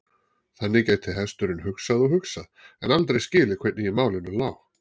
Þannig gæti hesturinn hugsað og hugsað, en aldrei skilið hvernig í málinu lá.